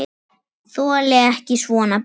Þoli ekki svona bið.